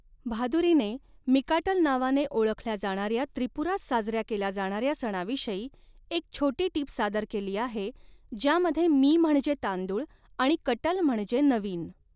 भादुरीने मिकाटल नावाने ओळखल्या जाणार्या त्रिपुरात साजऱ्या केला जाणाऱ्या सणाविषयी एक छोटी टीप सादर केली आहे ज्यामध्ये मी म्हणजे तांदूळ आणि कटल म्हणजे नवीन.